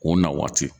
O na waati